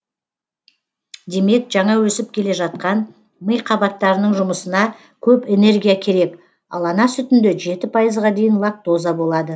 демек жаңа өсіп келе жатқан ми қабаттарының жұмысына көп энергия керек ал ана сүтінде пайызға дейін лактоза болады